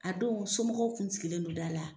A don somɔgɔw kun sigilen don da la.